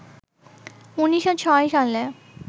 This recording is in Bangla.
১৯০৬ সালে